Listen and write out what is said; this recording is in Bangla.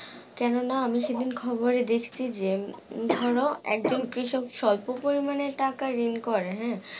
কেননা আমি সেইদিন খবরে দেখছি যে, ধর একদিন কৃষক স্বল্প পরিমাণে ঋণ করে, হ্যাঁ?